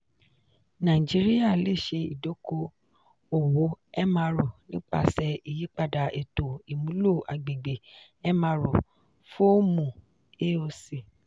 naijiria le ṣe idoko-owo mro nipasẹ iyipada eto imulo agbegbe mro fọọmu aoc.